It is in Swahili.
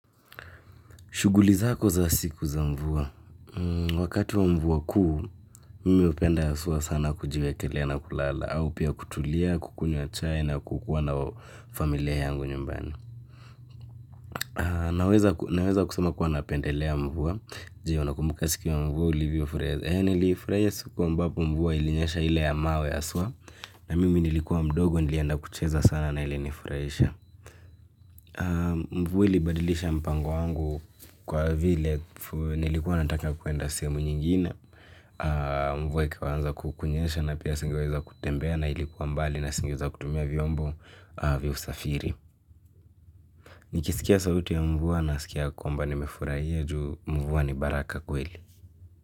Shughuli zako za siku za mvua. Wakati wa mvua kuu, mimi hupenda haswa sana kujiwekelea na kulala. Au pia kutulia, kukunywa chai na kukuwa na familia yangu nyumbani. Naweza kusema kuwa napendelea mvua. Jee, unakumbuka siku ya mvua ulivyoufurahia. Nilifurahia siku ambapo mvua ilinyesha ile ya mawe haswa. Na mimi nilikuwa mdogo, nilienda kucheza sana na ilinifurahisha. Mvua libadilisha mpango wangu kwa vile nilikuwa nataka kuenda sehemu nyingine mvua ikaanza kunyesha na pia singeweza kutembea na ilikuwa mbali na singeweza kutumia vyombo vya usafiri. Nikisikia sauti ya mvua nasikia kwamba nimefurahia juu mvua ni baraka kweli.